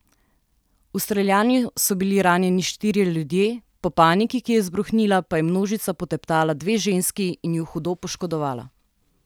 V streljanju so bili ranjeni štirje ljudje, po paniki, ki je izbruhnila, pa je množica poteptala dve ženski in ju hudo poškodovala.